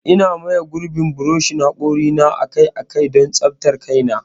Eh, Ina maye gurbin buroshin hakori na akai-akai don tsaftar kaina.